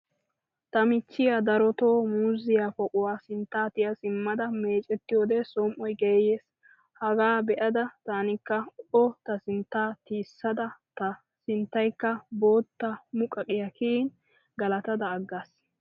Ta michchiya darotoo muuzziya poquwa sinttaa tiya simmada meecettiyode somi'oy geeyees. Hagaa be'ada tanikka o ta sinttaa tiyissada ta sinttayikka boottaa muqaqiya kiyin galatada aggaas.